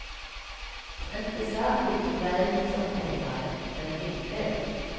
Inte särskilt välsorterade, men ändå.